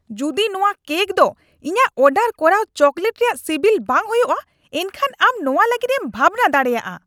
ᱡᱩᱫᱤ ᱱᱚᱶᱟ ᱠᱮᱠ ᱫᱚ ᱤᱧᱟᱹᱜ ᱚᱰᱟᱨ ᱠᱚᱨᱟᱣ ᱪᱳᱠᱞᱮᱴ ᱨᱮᱭᱟᱜ ᱥᱤᱵᱤᱞ ᱵᱟᱝ ᱦᱳᱭᱳᱜᱼᱟ, ᱮᱱᱠᱷᱟᱱ ᱟᱢ ᱱᱚᱣᱟ ᱞᱟᱹᱜᱤᱫ ᱮᱢ ᱵᱷᱟᱵᱱᱟ ᱫᱟᱲᱮᱭᱟᱜᱼᱟ !